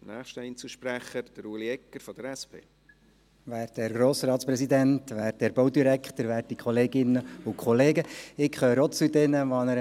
Ich gehöre auch zu jenen, die das Glück hatten, in einer Mittelschule klüger geworden zu sein.